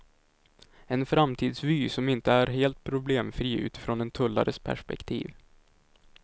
En framtidsvy som inte är helt problemfri utifrån en tullares perspektiv.